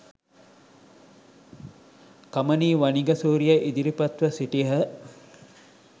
කමනි වනිගසූරිය ඉදිරිපත්ව සිටියහ